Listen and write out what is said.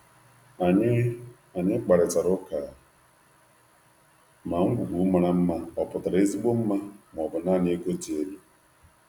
Anyị rụrụ ụka ma nkwakọ ngwaahịa dị mma pụtara àgwà ka mma ma ọ bụ naanị ọnụ ahịa dị elu.